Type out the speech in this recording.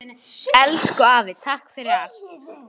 Elsku afi, takk fyrir allt.